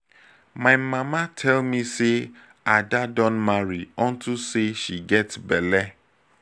my mama tell me say ada don marry unto say she get bele